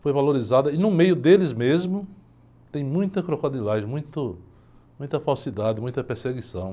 Foi valorizada e no meio deles mesmo tem muita crocodilagem, muito, muita falsidade, muita perseguição.